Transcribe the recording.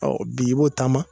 Ɔ bi i b'o taama